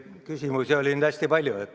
Küsimusi oli hästi palju.